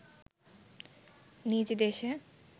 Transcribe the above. নিজ দেশে